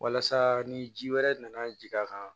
Walasa ni ji wɛrɛ nana jigin a kan